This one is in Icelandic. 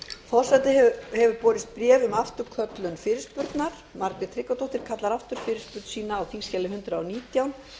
forseta hefur borist bréf um afturköllun fyrirspurnar háttvirtir þingmenn margrét tryggvadóttir kallar aftur fyrirspurn sína á þingskjali hundrað og nítján